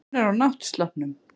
Hún er á náttsloppnum.